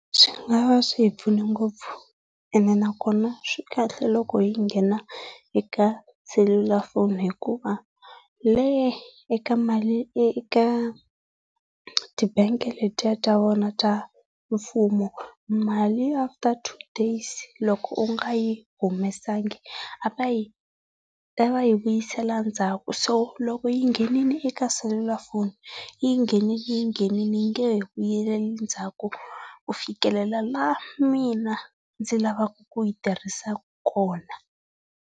Swi nga va swi hi pfune ngopfu ene nakona swikahle loko hi nghena eka selulafoni hikuva eka mali eka ti bangi letiya ta vona ta mfumo mali after two days loko u nga yi humesanga a va yi a va yi vuyisela ndzhaku. So loko yi nghenile eka selulafoni, yi nghenile yi nghenile yi nge he vuyeli endzhaku ku fikelela laha mina ndzi lavaka ku yi tirhisa kona.